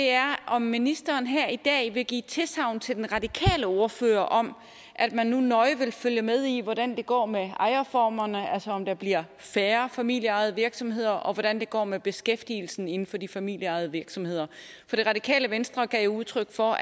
er om ministeren her i dag vil give tilsagn til den radikale ordfører om at man nu nøje vil følge med i hvordan det går med ejerformerne altså om der bliver færre familieejede virksomheder og hvordan det går med beskæftigelsen inden for de familieejede virksomheder for det radikale venstre gav jo udtryk for